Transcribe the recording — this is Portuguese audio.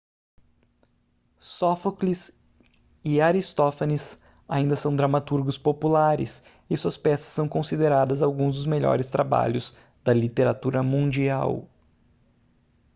sófocles e aristófanes ainda são dramaturgos populares e suas peças são consideradas alguns dos melhores trabalhos da literatura mundial